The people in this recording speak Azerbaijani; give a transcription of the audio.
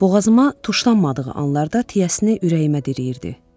Boğazıma tuşlanmadığı anlarda tiyəsini ürəyimə dirəyirdi.